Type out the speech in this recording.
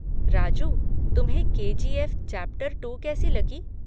राजू, तुम्हें K G F chapter two कैसी लगी?